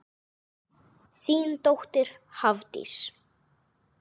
Þín dóttir Hafdís.